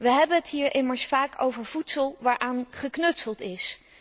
We hebben het hier immers vaak over voedsel waaraan geknutseld is.